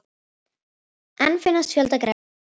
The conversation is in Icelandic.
Enn finnast fjöldagrafir í Mexíkó